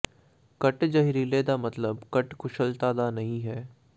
ਘੱਟ ਜ਼ਹਿਰੀਲੇ ਦਾ ਮਤਲਬ ਘੱਟ ਕੁਸ਼ਲਤਾ ਦਾ ਨਹੀਂ ਹੈ